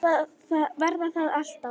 Verða það alltaf.